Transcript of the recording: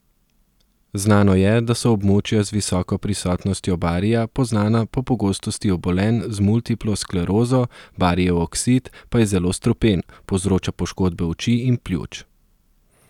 Znano je, da so območja z visoko prisotnostjo barija poznana po pogostosti obolenj za multiplo sklerozo, barijev oksid pa je zelo strupen, povzroča poškodbe oči in pljuč.